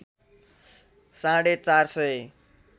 साढे ४ सय